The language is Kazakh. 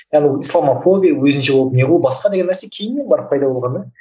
яғни ол ислам арқылы мен өзімше болып не ғой басқа деген нәрсе кейіннен барып пайда болған да